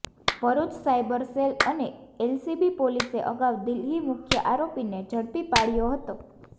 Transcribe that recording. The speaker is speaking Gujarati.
ભરૂચ સાઇબર સેલ અને એલસીબી પોલીસે અગાઉ દિલ્હી મુખ્ય આરોપીને ઝડપી પાડ્યો હતો